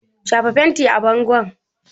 Shafa fenti a bangon!